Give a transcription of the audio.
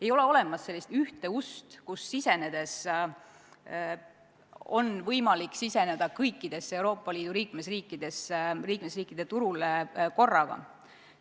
Ei ole olemas ühte ust, kust sisenedes oleks võimalik siseneda kõikidesse Euroopa Liidu liikmesriikidesse, kõigi liikmesriikide turule korraga.